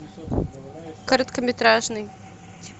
короткометражный